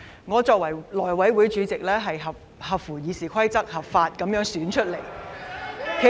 我作為內務委員會主席，是根據《議事規則》合法選出的。